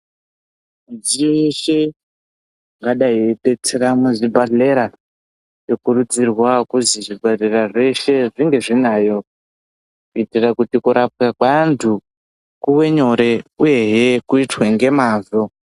Midziyo yeshe ingadai yeidetsera muzvibhedhleya yokurudzirwa kuzwi zvibhedhlera zveshe zvinge zvinayo uye kurapwa kweantu kuve nyore uyezve kuitwe ngemwazvo.